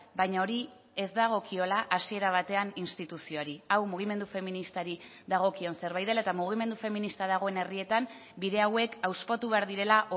baina hori ez dagokiola hasiera batean instituzioari hau mugimendu feministari dagokion zerbait dela eta mugimendu feminista dagoen herrietan bide hauek hauspotu behar direla